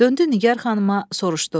Döndü Nigər xanıma, soruşdu: